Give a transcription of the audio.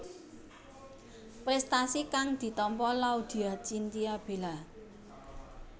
Prestasi kang ditampa Laudya Chintya Bella